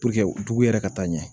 dugu yɛrɛ ka taa ɲɛ